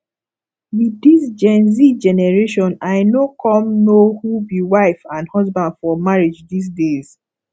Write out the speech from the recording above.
with dis genz generation i no come know who be wife and husband for marriage dis days